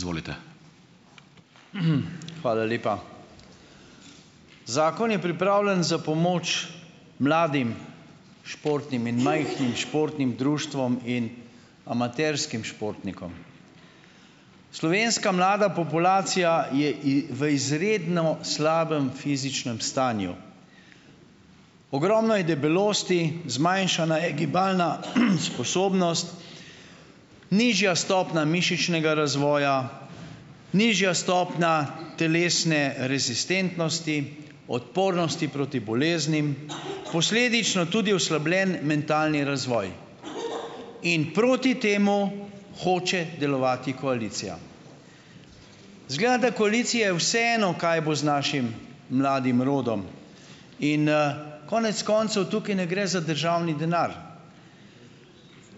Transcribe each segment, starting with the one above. Izvolite. hvala lepa. Zakon je pripravljen za pomoč mladim športnim in majhnim športnim društvom in amaterskim športnikom. Slovenska mlada populacija je v izredno slabem stanju fizičnem. Ogromno je debelosti, zmanjšana je gibalna, sposobnost , nižja stopna mišičnega razvoja, nižja stopnja telesne rezistentnosti, odpornosti proti boleznim, posledično tudi oslabljen mentalni razvoj. In proti temu hoče delovati koalicija. Izgleda, da koaliciji vseeno, kaj bo z našim mladim rodom. In, konec koncev tukaj ne gre za državni denar.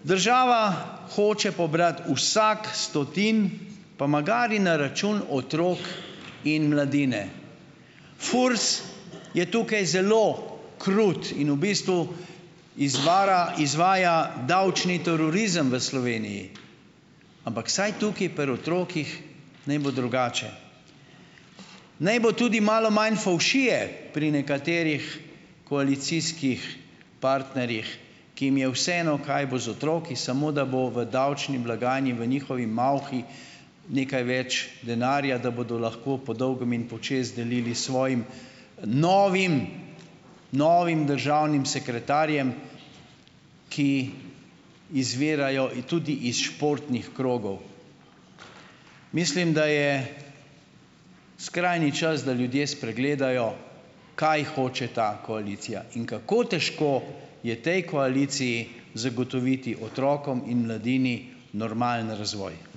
Država hoče pobrati vsak stotin, pa magari na račun otrok in mladine. FURS je tukaj zelo krut in v bistvu , izvaja davčni terorizem v Sloveniji. Ampak vsaj tukaj pri otrocih naj bo drugače. Naj bo tudi malo manj fovšije pri nekaterih koalicijskih partnerjih, ki jih je vseeno, kaj bo z otroki, samo da bo v davčni blagajni, v njihovi malhi nekaj več denarja, da bodo lahko podolgem in počez delili svojim, novim, novim državnim sekretarjem, ki izvirajo tudi iz športnih krogov. Mislim, da je skrajni čas, da ljudje spregledajo kaj hoče ta koalicija in kako težko je tej koaliciji zagotoviti otrokom in mladini normalen razvoj.